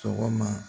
Sɔgɔma